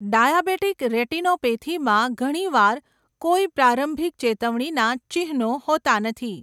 Diabetic રેટિનોપેથીમાં ઘણીવાર કોઈ પ્રારંભિક ચેતવણીના ચિહ્નો હોતા નથી.